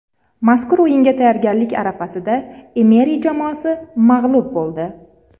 Mazkur o‘yinga tayyorgarlik arafasida Emeri jamoasi mag‘lub bo‘ldi.